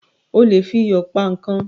O lè fi iyò pa ikán